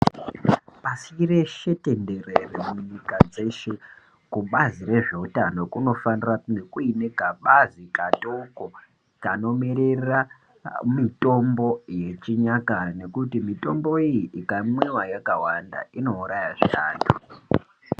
Pashi reshe tenderere munyika dzeshe kubazi rezveutano kunofanira kunge kuine kabazi katoko kanomiririra mitombo yechinyakare nekuti mitambo iyi ikamwiwa yakawanda inourayazve antu.